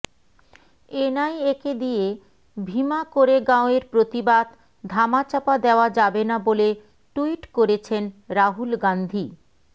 এনআইএকে দিয়ে ভিমা কোরেগাঁওয়ের প্রতিবাদ ধামাচাপা দেওয়া যাবে না বলে ট্যুইট করেছেন রাহুল গান্ধী